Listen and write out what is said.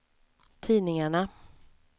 tidningarna